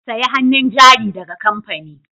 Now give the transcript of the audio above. Sayi hannun jari daga kamfani